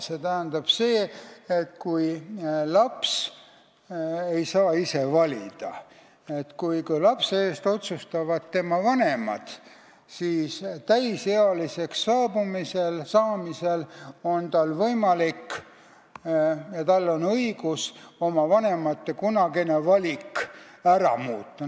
See tähendab seda, et kui laps ei saa ise valida, kui lapse eest otsustavad tema vanemad, siis täisealiseks saamisel on tal võimalik ja tal on õigus oma vanemate kunagine valik ära muuta.